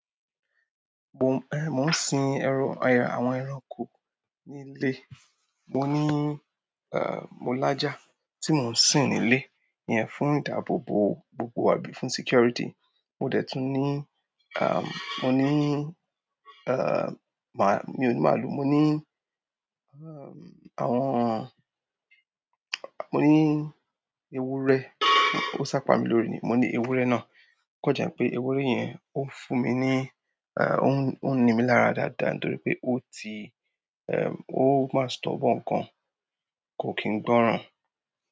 Mo, eh, mo ń sin ẹran--eh àwọn ẹranko nílé. Mo ní, eh, mo laja tí mo ń sin nílé iyẹn fún ìdáàbòbò gbogbo àbí fún security. Mo dẹ̀ tún ní, ahm, mo ní, eh, mà-- mi ò ní màlúù. Mo ni àwọn, mo ni ewúrẹ́. O sapa mi lórí ni mo ní ewúrẹ́ náà, ò kan je n pé ewúrẹ́ yẹn ó fún mi ní, a, ó ń, ó ń nimí lára dáadáa torí pé ó ti, eh, ó máa stubborn gaǹ kò kí n gbọ́ràn.